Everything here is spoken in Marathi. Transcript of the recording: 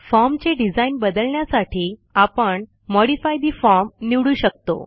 फॉर्म चे डिझाईन बदलण्यासाठी आपण मॉडिफाय ठे फॉर्म निवडू शकतो